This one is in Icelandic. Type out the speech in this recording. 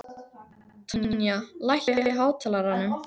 Tanya, lækkaðu í hátalaranum.